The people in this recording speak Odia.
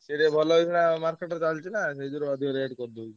ସିଏ ଟିକେ ଭଲ ହଉଥିଲା market ରେ ଚାଲିଚିନା ସେଇଯୋଗୁରୁ ଅଧିକ rate କରିଦଉଚି।